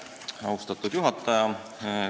Austatud juhataja!